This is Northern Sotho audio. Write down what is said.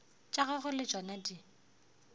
tša gagwe le tšona di